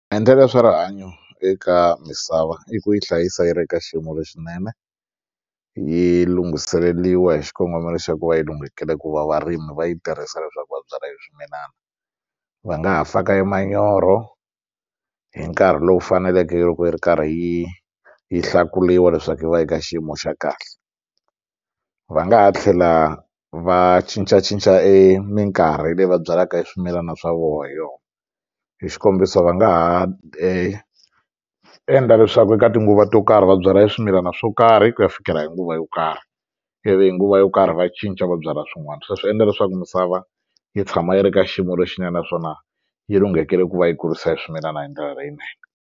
Maendlelo ya swa rihanyo eka misava i ku yi hlayisa yi ri ka xiyimo lexinene yi lunghiseleriwa hi xikongomelo xa ku va yi lunghekile ku va varimi va yi tirhisa leswaku va byala swimilana va nga ha faka e manyoro hi nkarhi lowu faneleke loko yi ri karhi yi yi hlakuriwa leswaku yi va yi ka xiyimo xa kahle va nga ha tlhela va cincacinca e minkarhi leyi va byalaka swimilana swa vona hi yona hi xikombiso va nga ha endla leswaku eka tinguva to karhi va byala swimilana swo karhi ku ya fikela hi nguva yo karhi ivi hi nguva yo karhi va cinca va byala swin'wana sweswo swi endla leswaku misava yi tshama yi ri ka xiyimo lexinene naswona yi lunghekele ku va yi kurisa e swimilana hi ndlela leyinene.